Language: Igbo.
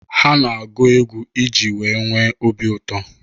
Ha na-agụ egwu i ji wee nwee obi ụtọ.